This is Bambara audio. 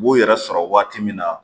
U b'u yɛrɛ sɔrɔ waati min na